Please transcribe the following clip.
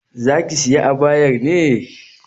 Zaki sayi abayar ne?